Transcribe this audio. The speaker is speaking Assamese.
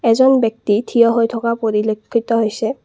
এজন ব্যক্তি থিয় হৈ থকা পৰিলক্ষিত হৈছে।